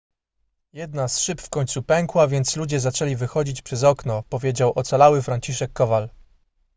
jedna z szyb w końcu pękła więc ludzie zaczęli wychodzić przez okno powiedział ocalały franciszek kowal